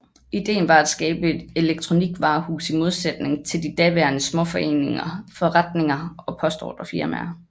Idéen var et skabe et elekronikvarehus i modsætning til de daværende småforretninger og postordrefirmaer